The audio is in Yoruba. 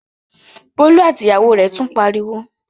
Bólú àti ìyàwó rẹ̀ tún ń pariwo?